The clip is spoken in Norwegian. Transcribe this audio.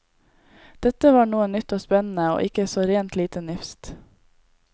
Dette var noe nytt og spennende og ikke så rent lite nifst.